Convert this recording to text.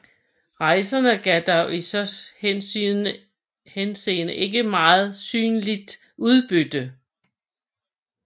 Rejsen gav dog i så henseende ikke noget synderligt udbytte